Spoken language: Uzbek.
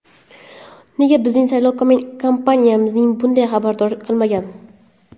Nega bizning saylov kampaniyamizni bundan xabardor qilmagan?